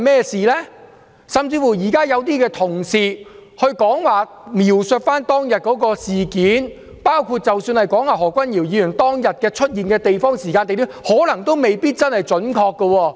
甚至現在有些同事描述當天的事件，包括何君堯議員當天出現的時間及地點，可能都未必準確。